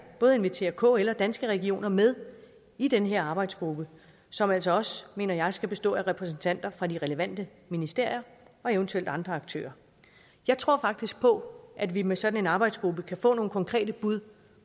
både invitere kl og danske regioner med i den her arbejdsgruppe som altså også mener jeg skal bestå af repræsentanter fra de relevante ministerier og eventuelt andre aktører jeg tror faktisk på at vi med sådan en arbejdsgruppe kan få nogle konkrete bud